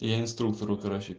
и я инструктору короче